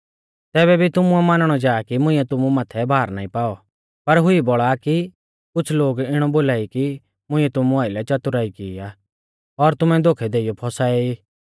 तैबै भी तुमुऐ मानणौ जा कि मुंइऐ तुमु माथै भार नाईं पाऔ पर हुई बौल़ा आ कि कुछ़ लोग इणौ बोला कि मुइंऐ तुमु आइलै च़तुराई की आ और तुमै धोखै देइयौ फौसाऐ ई